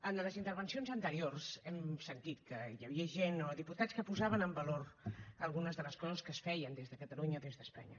en les intervencions anteriors hem sentit que hi havia gent o diputats que posaven en valor algunes de les coses que es feien des de catalunya o des d’espanya